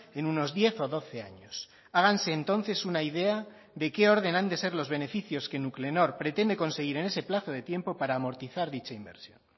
en unos diez o doce años háganse entonces una idea de qué orden han de ser los beneficios que nuclenor pretende conseguir en ese plazo de tiempo para amortizar dicha inversión